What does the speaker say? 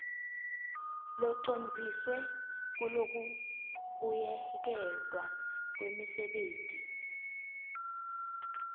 locondziswe kulokubuyeketwa kwemisebenti